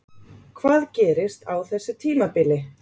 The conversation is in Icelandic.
Hvað gerist á þessu tímabili?